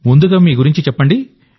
ముందుగా మీ గురించి చెప్పండి